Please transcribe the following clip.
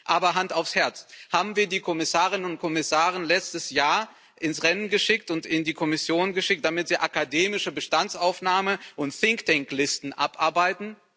Aber Hand aufs Herz Haben wir die Kommissarinnen und Kommissare letztes Jahr ins Rennen geschickt und in die Kommission geschickt, damit sie akademische Bestandsaufnahme betreiben und Think Tank Listen abarbeiten?